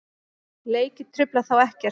Leikir trufla þá ekkert.